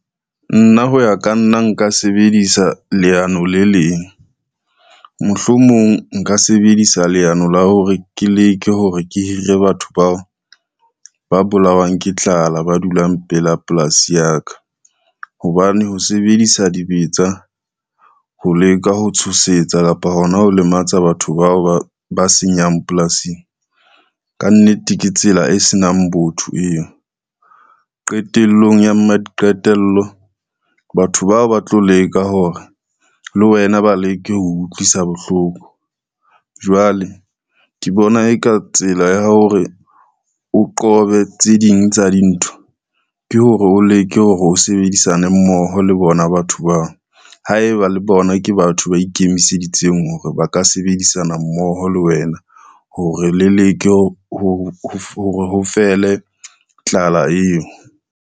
Nna ho ya ka nna nka sebedisa leano le leng, mohlomong nka sebedisa leano la hore ke leke hore ke hire batho bao ba bolawang ke tlala ba dulang pela polasi ya ka, hobane ho sebedisa dibetsa ho leka ho tshosetsa kapa hona ho lematsa batho bao ba senyang polasing, ka nnete ke tsela e senang botho eo. Qetellong ya maqetello batho bao ba tlo leka hore le wena ba leke ho utlwisa bohloko, jwale ke bona e ka tsela ya hore o qobe tse ding tsa dintho ke hore, o leke hore o sebedisane mmoho le bona batho bao, haeba le bona ke batho ba ikemiseditseng hore ba ka sebedisana mmoho le wena hore le leke hore ho fele tlala eo.